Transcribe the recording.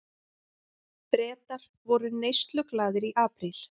Bretar voru neysluglaðir í apríl